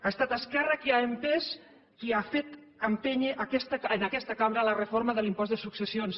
ha estat esquerra qui ha empès qui ha fet empènyer en aquesta cambra la reforma de l’impost de successions